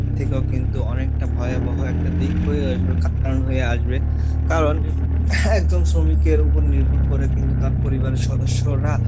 থেকেও কিন্তু অনেকটা ভয়াবহ একটা দিক হয়ে আসবে, কারণ হয়ে আসবে, কারণ একদম শ্রমিকের উপর নির্ভর করে কিন্তু তার পরিবারের সদস্যরা,